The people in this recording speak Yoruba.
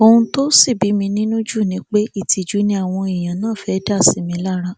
ohun tó sì bí mi nínú jù ni pé ìtìjú ni ni àwọn èèyàn náà fẹẹ dá sí mi lára